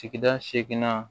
Sigida seginna